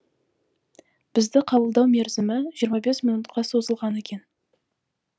бізді қабылдау мерзімі жиырма бес минутқа созылған екен